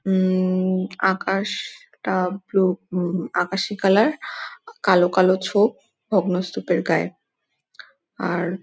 উম-ম-ম আকাশ-শ-টা blue -um আকাশী colour কালো কালো ছোপ ভগ্নস্তূপের গায়ে । আর --